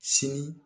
Sini